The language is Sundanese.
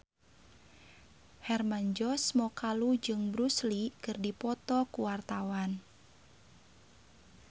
Hermann Josis Mokalu jeung Bruce Lee keur dipoto ku wartawan